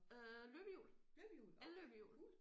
Øh løbehjul el-løbehjul